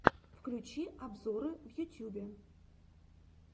включи обзоры в ютьюбе